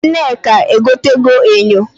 Nneka egotego enyo.